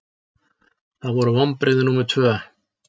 Það voru vonbrigði númer tvö.